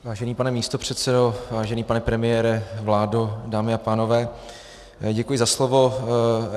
Vážený pane místopředsedo, vážený pane premiére, vládo, dámy a pánové, děkuji za slovo.